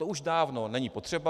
To už dávno není potřeba.